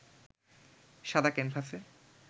সাদা ক্যানভাসে